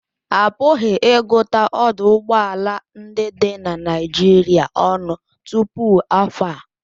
A pụghị ịgụta ọdụ ụgbọ ala ndị dị na Naịjirịa ọnụ tupu afọ a